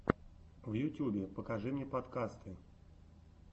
в ютьюбе покажи мне подкасты